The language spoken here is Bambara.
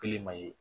Kelen ma ye